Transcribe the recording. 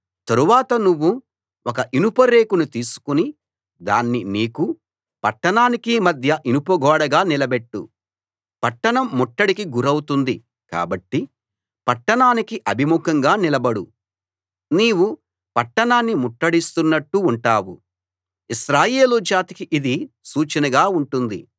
తరువాత నువ్వు ఒక ఇనుప రేకును తీసుకుని దాన్ని నీకూ పట్టణానికీ మధ్య ఇనుప గోడగా నిలబెట్టు పట్టణం ముట్టడికి గురౌతుంది కాబట్టి పట్టణానికి అభిముఖంగా నిలబడు నీవు పట్టణాన్ని ముట్టడిస్తున్నట్టు ఉంటావు ఇశ్రాయేలు జాతికి ఇది సూచనగా ఉంటుంది